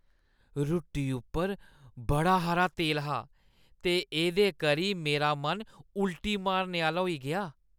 रुट्टी उप्पर बड़ा हारा तेल हा ते एह्दे करी मेरा मन उल्टी मारने आह्‌ला होई गेआ।